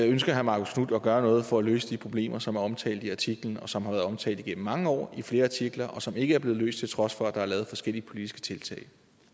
ønsker herre marcus knuth at gøre noget for at løse de problemer som er omtalt i artiklen og som har været omtalt igennem mange år i flere artikler og som ikke er blevet løst til trods for at der er lavet forskellige politiske tiltag